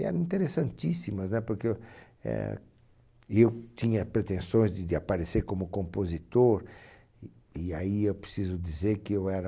E eram interessantíssimas, né? Porque, eh, eu tinha pretensões de de aparecer como compositor, e e aí eu preciso dizer que eu era...